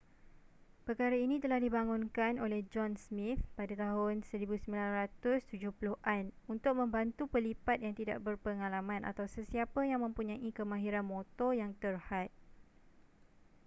perkara ini telah dibangunkan oleh john smith pada tahun 1970-an untuk membantu pelipat yang tidak berpengalaman atau sesiapa yang mempunyai kemahiran motor yang terhad